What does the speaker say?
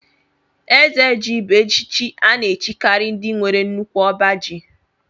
Eze ji bú echichi a na-echikari ndị nwere nnukwu ọbá ji.